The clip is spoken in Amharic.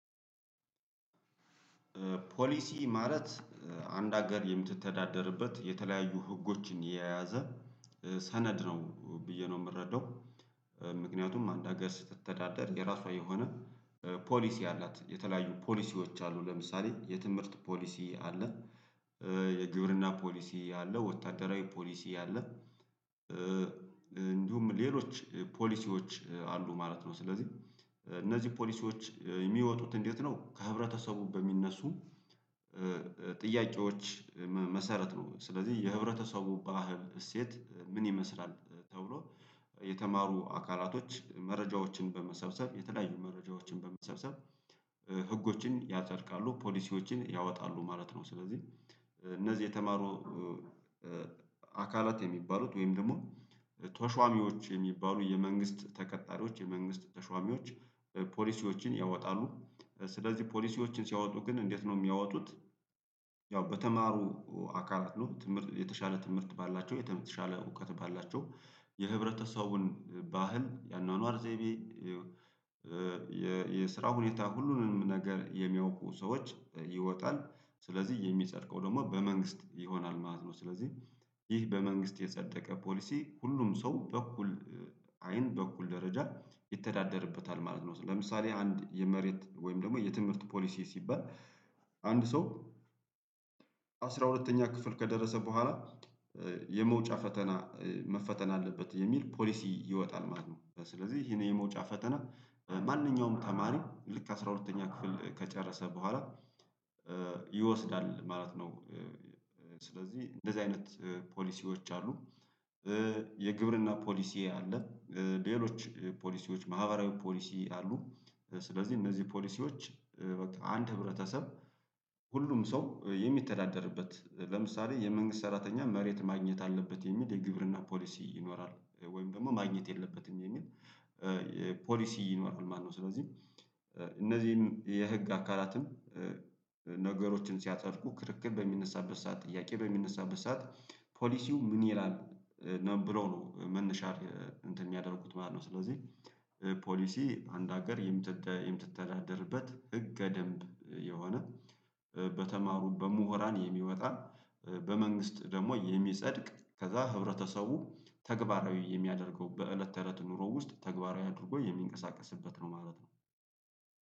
ፖሊሲ ማለት አንድ ሀገር የምትተዳደርበት የተለያዩ ህጎችን የያዘ ሰነድ ነው ብዬ ነው የምረዳው። ምክንያቱም አንድ ሀገር ስትተዳደር የራሷ የሆነ ፖሊሲ አላት። የተለያዩ ፖሊሲዎች አሉ። ለምሳሌ የትምህርት ፖሊሲ አለ። የግብርና ፖሊሲ አለ፤ ወታደራዊ ፖሊሲ አለ እንዲሁም ሌሎች ፖሊሲዎች አሉ ማለት ነው። ስለዚህ እነዚህ ፖሊሲዎች የሚወጡት እንዴት ነው ከህብረተሰቡ በሚነሱ ጥያቄዎች መሰረት ነው። ስለዚህ የህብረተሰቡ ባህል እሴት ምን ይመስላል? ተብሎ የተማሩ አካላቶች መረጃዎችን በመሰብሰብ የተለያዩ መረጃዎችን በመሰብሰብ ህጎችን ያጸድቃሉ፤ ፖሊሲዎችን ያወጣሉ ማለት ነው። ስለዚህ እነዚህ የተማሩ አካላት የሚባሉት ወይም ደግሞ ተሿሚዎች የሚባሉ የመንግስት ተቀጣሪዎች፣ የመንግስት ተሿሚዎች ፖሊሲዎችን ያወጣሉ። ስለዚህ ፖሊሲዎችን ሲያወጡ ግን እንዴት ነው የሚያወጡት ያው በተማሩ አካላት ነው። ትምህርት የተሻለ ትምህርት ባላቸው፤ የተሻለ እውቀት ባላቸው፤ የህብረተሰቡን ባህል፣ የአኗኗር ዘይቤ፣ የ የስራ ሁኔታ ሁሉንም ነገር የሚያውቁ ሰዎች ይወጣል። ስለዚህ የሚጸድቀው ደግሞ በመንግስት ይሆናል ማለት ነው። ስለዚህ ይህ በመንግስት የጸደቀ ፖሊሲ ሁሉም ሰው በእኩል አይን በእኩል ደረጃ ይተዳደርበታል ማለት ነው። ለምሳሌ አንድ የመሬት ወይም ደግሞ የትምህርት ፖሊሲ ሲባል አንድ ሰው አስራ ሁለተኛ ክፍል ከደረሰ በኋላ 'የመውጫ ፈተና መፈተን አለበት' የሚል ፖሊሲ ይወጣል ማለት ነው። ስለዚህ ይሄን የመውጫ ፈተና ማንኛውም ተማሪ ልክ አስራ ሁለተኛ ክፍል ከጨረሰ በኋላ ይወስዳል ማለት ነው። ስለዚህ እንደዚህ አይነት ፖሊሲዎች አሉ። የግብርና ፖሊሲ አለ። ሌሎች ፖሊሲዎች ማህበራዊ ፖሊሲ አሉ ስለዚህ እነዚህ ፖሊሲዎች በቃ አንድ ህብረተሰብ ሁሉም ሰው የሚተዳደርበት ለምሳሌ የመንግስት ሰራተኛ መሬት ማግኘት አለበት የሚል የግብርና ፖሊሲ ይኖራል ወይም ደግሞ ማግኘት የለበትም የሚል ፖሊሲ ይኖራል ማነው ስለዚህ እነዚህም የህግ አካላትም ነገሮችን ሲያጸድቁ ክርክር በሚነሳበት ሰዓት ጥያቄ በሚነሳበት ሰዓት ፖሊሲው ምን ይላል ብለው ነው መነሻ እንትን ያሚያደርጉት ማለት ነው። ስለዚህ ፖሊሲ አንድ ሀገር የምትተዳደርበት ህገደምብ የሆነ በተማሩ በምሁራን የሚወጣ በመንግስት ደግሞ የሚጸድቅ ከዛ ህብረተሰቡ ተግባራዊ የሚያደርገው በእለት ተእለት ኑሮ ውስጥ ተግባራዊ አድርጎ የሚንቀሳቀስበት ነው ማለት ነው።